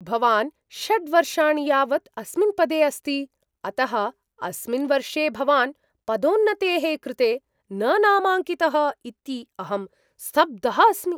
भवान् षड् वर्षाणि यावत् अस्मिन् पदे अस्ति, अतः अस्मिन् वर्षे भवान् पदोन्नतेः कृते न नामाङ्कितः इति अहं स्तब्धः अस्मि।